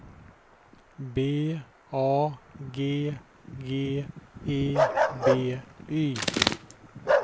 B A G G E B Y